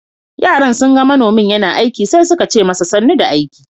Yaran sun ga manomin yana aiki sai suka ce masa "Sanu da aiki."